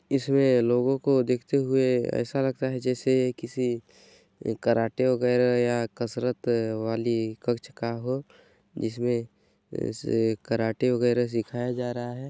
इसमें लोगों को देखते हुए ऐसा लगता है जैसे किसी कराटे वगैरह या कसरत वाली कक्षा का हो जिसमें कराटे वगैरह सिखाया जा रहा हैं।